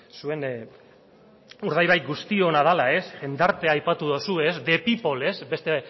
zuen urdaibai guztiona dela jendartea aipatu duzu the people beste